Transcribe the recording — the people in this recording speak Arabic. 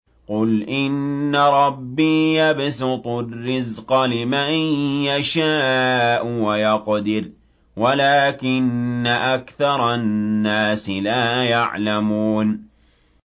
قُلْ إِنَّ رَبِّي يَبْسُطُ الرِّزْقَ لِمَن يَشَاءُ وَيَقْدِرُ وَلَٰكِنَّ أَكْثَرَ النَّاسِ لَا يَعْلَمُونَ